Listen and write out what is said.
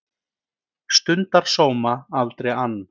Stundar sóma, aldrei ann